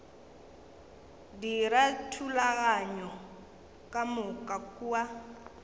dira dithulaganyo ka moka kua